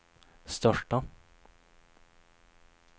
största